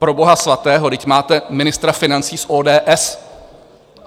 Pro boha svatého, vždyť máte ministra financí z ODS!